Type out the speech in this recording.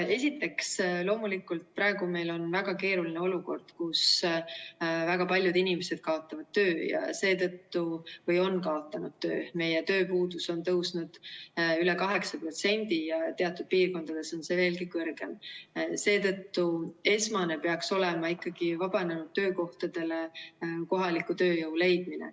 Esiteks, loomulikult, praegu meil on väga keeruline olukord, kus väga paljud inimesed kaotavad või on kaotanud töö – meie tööpuudus on tõusnud üle 8% ja teatud piirkondades on see veelgi kõrgem –, seetõttu esmane peaks olema ikkagi vabanenud töökohtadele kohaliku tööjõu leidmine.